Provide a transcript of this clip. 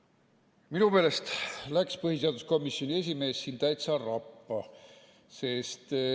Minu meelest läks põhiseaduskomisjoni esimees siin täitsa rappa.